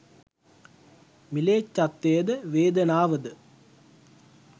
ම්ලේච්ජත්වය ද වේදනාව ද